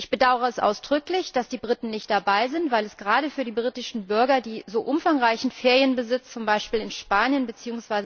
Ich bedauere es ausdrücklich, dass die Briten nicht dabei sind, weil es gerade für die britischen Bürger, die so umfangreiche Ferienimmobilien zum Beispiel in Spanien bzw.